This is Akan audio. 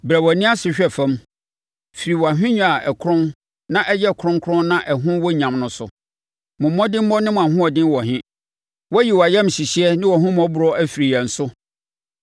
Brɛ wʼani ase hwɛ fam firi wʼahennwa a ɛkorɔn na ɛyɛ kronkron na ɛho wɔ nyam no so. Mo mmɔdemmɔ ne mo ahoɔden wɔ he? Woayi wʼayamhyehyeɛ ne wʼahummɔborɔ afiri yɛn so.